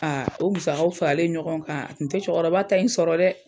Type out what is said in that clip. o musakaw faralen ɲɔgɔn kan a tun tɛ cɛkɔrɔba ta in sɔrɔ dɛ.